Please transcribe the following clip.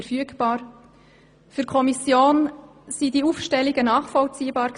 Für die Kommission war diese Aufstellung nachvollziehbar.